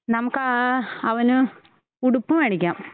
നമുക്കാ അവന് ഉടുപ്പ് മേടിക്കാം